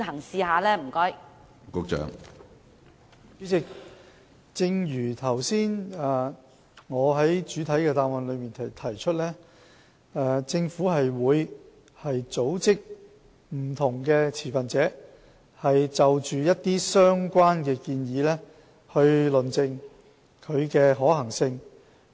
主席，正如我剛才在主體答覆提出，政府會組織不同持份者論證相關建議的可行性。